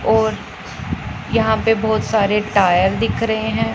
और यहाँ पे बहोत सारे टायर दिख रहे हैं।